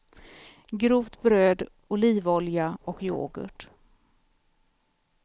Grovt bröd, olivolja och yoghurt.